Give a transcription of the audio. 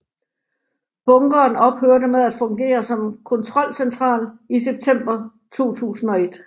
Bunkeren ophørte med at fungere som kontrolcentral i september 2001